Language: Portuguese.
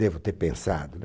Devo ter pensado, né?